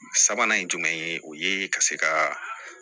Sabanan ye jumɛn ye o ye ka se ka